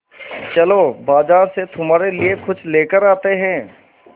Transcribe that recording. चलो बाज़ार से तुम्हारे लिए कुछ लेकर आते हैं